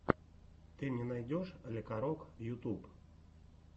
ты мне найдешь лекарок ютуб